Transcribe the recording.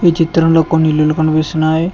ఈ చిత్రంలో కొన్ని ఇల్లులు కనిపిస్తున్నాయి.